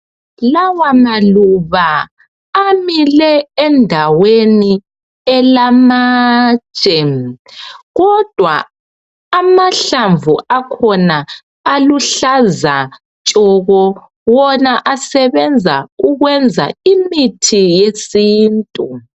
Lawa maluba amile endaweni elamatshe kodwa amahlamvu akhona aluhlaza tshoko wona asebenza ukwenza imithi yesintu